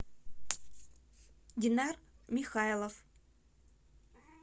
динар михайлов